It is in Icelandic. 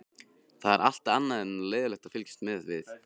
Það er allt annað en leiðinlegt að fylgjast með við